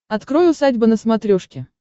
открой усадьба на смотрешке